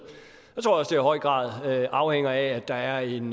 jeg høj grad afhænger af at der er en